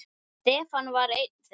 Stefán var einn þeirra.